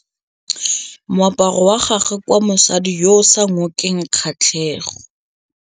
Moaparô wa gagwe ke wa mosadi yo o sa ngôkeng kgatlhegô.